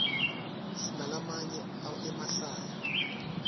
sinalamanye emahlaya